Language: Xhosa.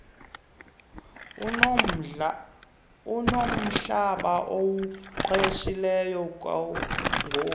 unomhlaba awuqeshileyo kungoku